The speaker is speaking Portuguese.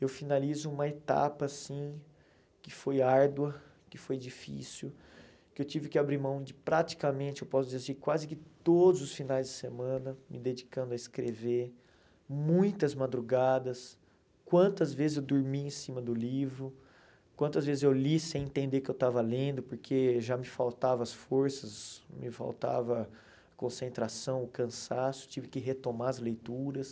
eu finalizo uma etapa assim, que foi árdua, que foi difícil, que eu tive que abrir mão de praticamente, eu posso dizer assim, quase que todos os finais de semana, me dedicando a escrever, muitas madrugadas, quantas vezes eu dormi em cima do livro, quantas vezes eu li sem entender o que eu estava lendo, porque já me faltavam as forças, me faltava a concentração, o cansaço, tive que retomar as leituras.